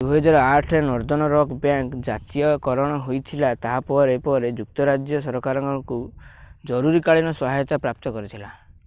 2008ରେ northern rock bank ଜାତୀୟକରଣ ହୋଇଥିଲା ତାହା ପରେ ପରେ ଯୁକ୍ତରାଜ୍ୟ ସରକାରଙ୍କଠାରୁ ଜରୁରୀକାଳୀନ ସହାୟତା ପ୍ରାପ୍ତ କରିଥିଲା